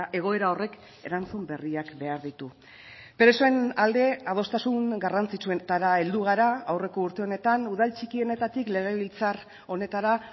egoera horrek erantzun berriak behar ditu presoen alde adostasun garrantzitsuetara heldu gara aurreko urte honetan udal txikienetatik legebiltzar honetara